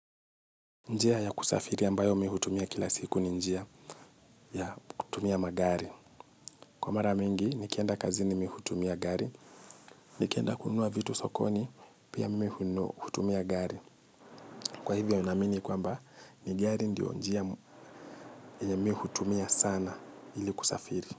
Njia ya kusafiri ambayo m ihutumia kila siku ni njia ya kutumia magari. Kwa mara mingi nikienda kazini mimi hutumia gari, nikienda kununua vitu sokoni, pia mimi hutumia gari. Kwa hivyo naamini kwamba ni gari ndio njia yenye mi hutumia sana ili kusafiri.